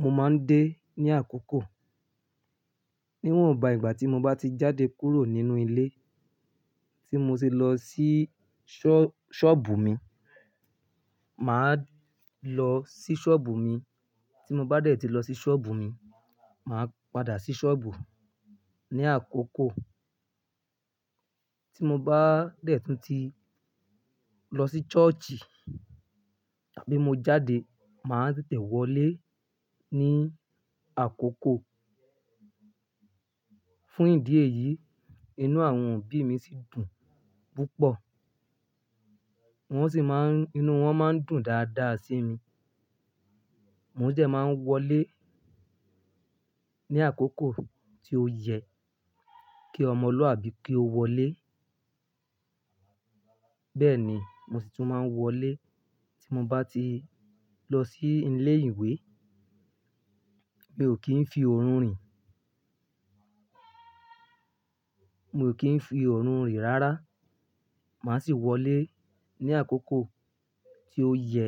Mo máa ń dé ní àkókò. Níwọ̀n bá ìgbà tí mo bá ti jáde kúrò nínú ilé tí mo ti lọ sí sọ́ọ̀- búù mi, mà á lọ sí sọ́ọ̀bù mi. Tí mo bá dẹ̀ tí lọ sí sọ́ọ̀bù mi, mà á padà sí sọ́ọ̀bù ní àkókò. Tí mo bá dẹ̀ tún ti lọ sí ṣọ́ọ̀ṣì tàbí mo jáde, mà á tètè wọlé ní àkókò. Fún ìdí èyí, inú àwọn òbí mi sì dùn púpọ̀. Wọ́n sì máa ń, inú wọn máa ń dùn dáadáa sí mi. Mo sì dẹ̀ máa wọlé ní àkókò tí ó yẹ kí ọmọ lu àbí kí ó wọlé. Bẹ́ẹ̀ ni, mo sì tún máa wọlé tí mo bá ti lọ sí ilé ìwé. Mi ò kì í fi orun rìn. Mi ò kì í fi orun rìn rárá. Mà á sì wọlé ní àkókò tí ó yẹ